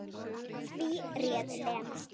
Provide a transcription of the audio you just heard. Því réð Lena.